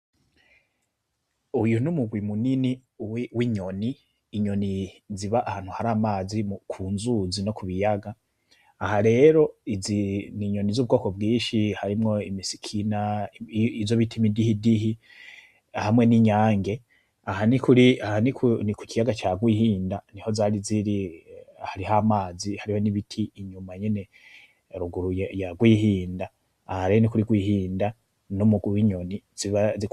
Uyu n'umugwi munini w'inyoni, inyoni ziba ahantu hari amazi, ku nzuzi no kubiyaga, aha rero izi ni nyoni zubwoko bwinshi, harimwo imisikina, izo bita imidihidihi, hamwe n'inyange, aha ni kukiyaga ca rwihinda niho zari ziri, hariho amazi hariho n'ibiti inyuma nyene ruguru ya rwihinda, aha rero nikuri rwihinda, n'umugwi w'inyoni ziba.